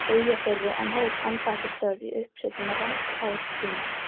Eyjafirði en hóf embættisstörf í uppsveitum Rangárþings.